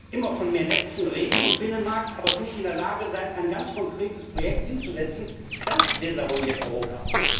Immer von mehr Netzen und Binnenmarkt reden, aber nicht in der Lage sein, ein ganz konkretes Projekt hinzusetzen, das desavouiert Europa.